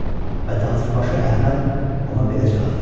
Və tacirbaşı Əhməd ona belə cavab verdi.